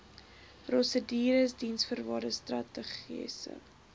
prosedures diensvoorwaardes strategiese